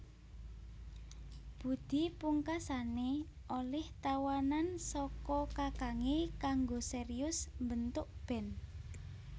Budi pungkasané olih tawanan saka kakangé kanggo serius mbentuk band